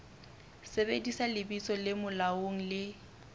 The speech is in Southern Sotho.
sebedisa lebitso le molaong le